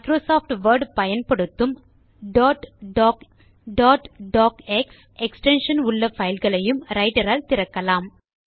Microsoft Word பயன்படுத்தும் dot doc dot docx extensionஉள்ள பைல்களையும் ரைட்டர் ஆல் திறக்கலாம்